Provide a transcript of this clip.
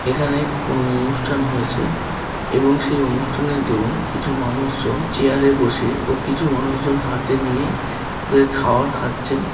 এখানে কোনো অনুষ্ঠান হয়েছে এবং সেই অনুষ্ঠানের দরুণ কিছু মানুষজন চেয়ারে বসে ও কিছু মানুষজন হাতে নিয়ে তাদের খাবার খাচ্ছেন।